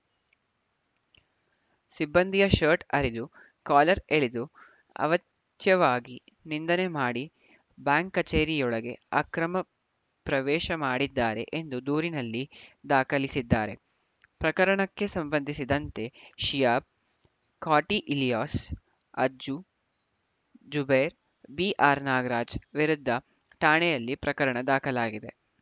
ಸಿಬ್ಬಂದಿಯ ಶರ್ಟ್‌ ಹರಿದು ಕಾಲರ್‌ ಎಳೆದು ಅವಾಚ್ಯವಾಗಿ ನಿಂದನೆ ಮಾಡಿ ಬ್ಯಾಂಕ್‌ ಕಚೇರಿಯೊಳಗೆ ಅಕ್ರಮ ಪ್ರವೇಶ ಮಾಡಿದ್ದಾರೆ ಎಂದು ದೂರಿನಲ್ಲಿ ದಾಖಲಿಸಿದ್ದಾರೆ ಪ್ರಕರಣಕ್ಕೆ ಸಂಬಂಧಿಸಿದಂತೆ ಶಿಯಾಬ್‌ ಕಾಟಿ ಇಲಿಯಾಸ್‌ ಅಜ್ಜು ಜುಬೇರ್‌ ಬಿಆರ್‌ನಾಗರಾಜ್‌ ವಿರುದ್ಧ ಠಾಣೆಯಲ್ಲಿ ಪ್ರಕರಣ ದಾಖಲಾಗಿದೆ